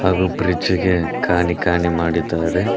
ಹಾಗು ಬ್ರಿಡ್ಜ್ ಗೆ ಖಾನಿ ಖಾನಿ ಮಾಡಿದ್ದಾರೆ.